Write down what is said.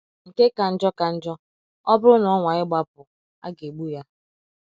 Nke ka njọ ka njọ, ọ bụrụ na ọ nwaa ịgbapụ, aga egbu ya.